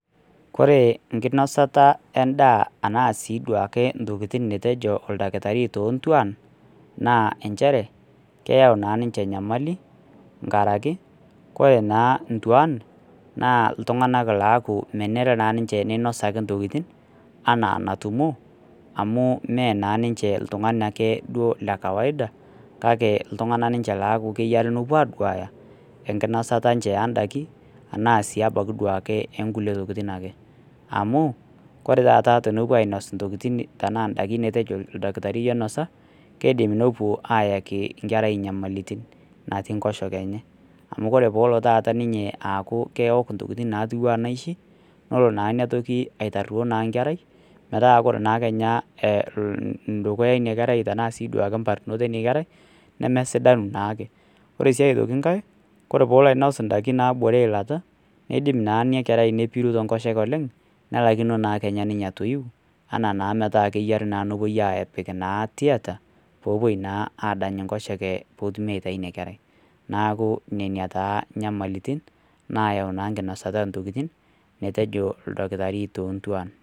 Koree enkinasata endaa ashua ke ntokitin nituejo oldakitari tontuan na nchere keyau ninche enyamali tenkaraki ore ntuan na ltunganak aoaku ninche ninosa ntokitin ana enatumo amu me oltungani ake lekawaida kake ltung'anak enkinasata endakini ashu duo ake nkulie tokitin ake amu koree taata tenepuo ainosa ntokitin matejo etejo oldakitari minosa kidim nepuo ayaki nkera nyamalitin natii nkosheke enye amu keok ntokitin natiu anaa naishi na kelo aitiraa kenya na dukuya inakerai neme sidanu naake ore si atoki nkae nidim pepiru enkosheke oleng n lakino kenya ninye atoi nepuo apoki tieta pepuo adany nkosheke petumi aitau inakerai neaku ina taa nyamalitin nayau nkinasata ondakin metejo oldakitari tontuan.